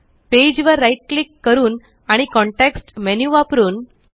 page वर right click करून आणि कॉन्टेक्स्ट मेन्यु वापरून